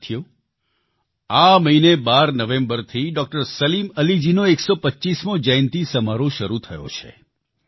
સાથીઓ આ મહિને 12 નવેમ્બરથી ડોક્ટર સલીમ અલીજી નો 125મો જયંતિ સમારોહ શરૂ થયો છે